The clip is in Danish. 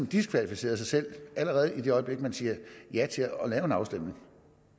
diskvalificeret sig selv allerede i det øjeblik man siger ja til at lave en afstemning